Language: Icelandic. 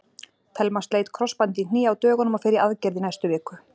Telma sleit krossband í hné á dögunum og fer í aðgerð í næstu viku.